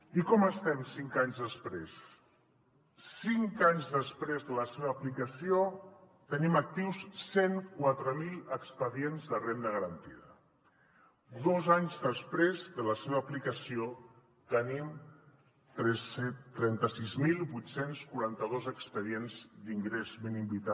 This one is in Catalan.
i com estem cinc anys després cinc anys després de la seva aplicació tenim actius cent i quatre mil expedients de renda garantida dos anys després de la seva aplicació tenim trenta sis mil vuit cents i quaranta dos expedients d’ingrés mínim vital